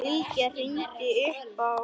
Bylgja hringdi upp á